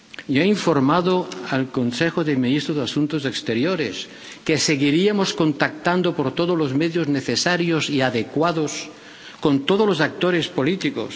Y he informado al Consejo de Ministros de Asuntos Exteriores de que seguiríamos contactando por todos los medios necesarios y adecuados con todos los actores políticos.